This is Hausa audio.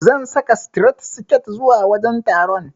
Zan saka sitiret siket zuwa wajen taron.